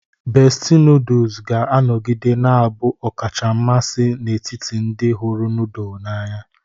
Bestie noodles ga-anọgide na-abụ ọkacha mmasị n'etiti ndị hụrụ noodle n'anya.